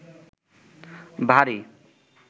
ভারী